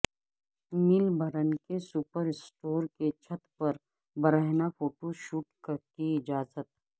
Melbourne کے super store کی چھت پر برہنہ فوٹو شوٹ کی اجازت